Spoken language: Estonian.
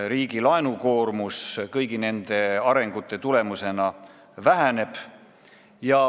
Riigi laenukoormus kõigi nende arengute tulemusena väheneb.